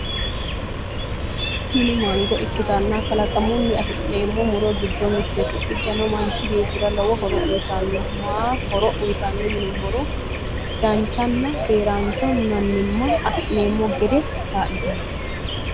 Tini mango ikkitanna kalaqamunni afi'neemmo muro giddo mittete. iseno manchi beettira lowo horo uyitanno ma horo uyitanno yinummoro danchanna keerancho mannimma afi'neemmo gede kaa'litanno.